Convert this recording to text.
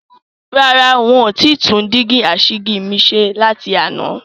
Rárá, ń ó ti tún dígí asìjì mi ṣe láti àná.